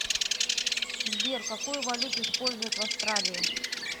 сбер какую валюту используют в австралии